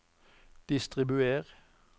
distribuer